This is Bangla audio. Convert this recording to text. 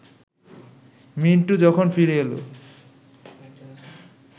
মিন্টু যখন ফিরে এল